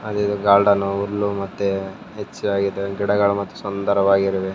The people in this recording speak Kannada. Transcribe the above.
ಹಾಗೆ ಇದು ಗಾರ್ಡನ್ನು ಹುಲ್ಲು ಮತ್ತೆ ಹೆಚ್ಚಾಗಿದೆ ಗಿಡಗಳು ಮತ್ತು ಸುಂದರವಾಗಿರುವೆ.